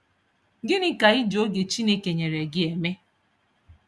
Gịnị ka I ji oge Chineke nyere gị eme?